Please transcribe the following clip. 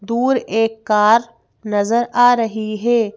दूर एक कार नजर आ रही है।